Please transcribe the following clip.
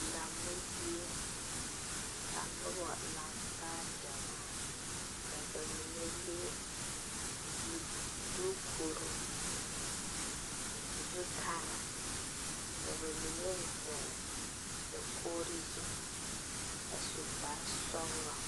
Lammo zie ka noba laŋ taa gyamaa ka ba mine leŋ zu dukure zutare ka ba mine ziŋ dakogre zu a su kparesɔglɔ.